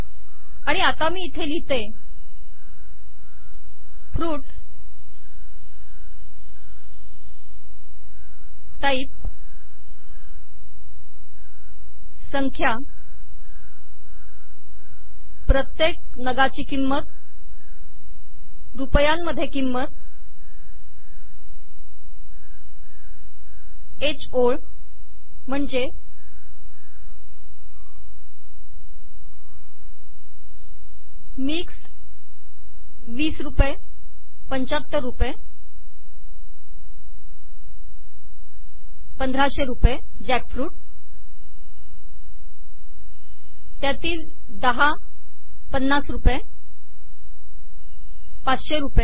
आणि आता मी इथे लिहितेः फ्रुट टाइप संख्या प्रत्येक नगाची किंमत रुपयांमध्ये किंमत ह ओळ म्हणजे मिक्स्ड 20 75 रुपये 1500 रुपये जॅकफ्रुट त्यातील 10 50 रुपये 500 रुपये